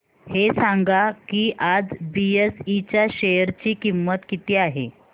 हे सांगा की आज बीएसई च्या शेअर ची किंमत किती आहे